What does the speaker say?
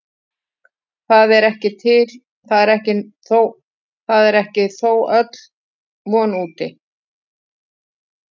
Það er þó ekki öll von úti.